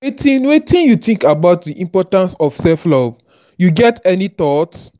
wetin wetin you think about di importance of self-love you get any thoughts?